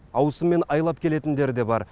ауысыммен айлап келетіндері де бар